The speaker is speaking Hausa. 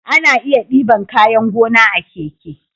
Ana iya diban kayan gona a keke